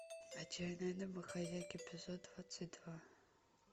отчаянные домохозяйки эпизод двадцать два